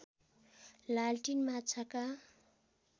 लालटिन माछाका